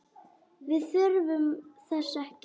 Við þurfum þess ekki.